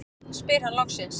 spyr hann loksins.